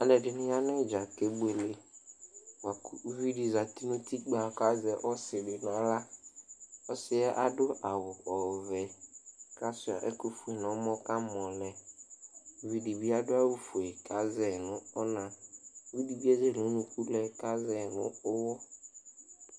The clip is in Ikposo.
Alʋɛdɩnɩ ya nʋ ɩdza kebuele bʋa kʋ uvi dɩ zati nʋ utikpǝ kʋ azɛ ɔsɩ dɩ nʋ aɣla Ɔsɩ yɛ adʋ awʋ ɔvɛ kʋ asʋɩa ɛkʋfue nʋ ɔmɔ kʋ amɔ lɛ Uvi dɩ bɩ adʋ awʋfue kʋ azɛ yɩ nʋ ɔna Uvi dɩ bɩ ezele unuku lɛ kʋ azɛ yɩ nʋ ʋɣɔ